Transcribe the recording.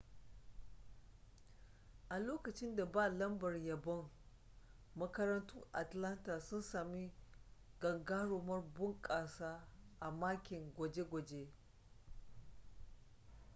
a lokacin ba da lambar yabon makarantun atlanta sun sami gagarumar bunƙasa a makin gwaje-gwaje